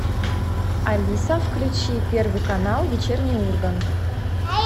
алиса включи первый канал вечерний ургант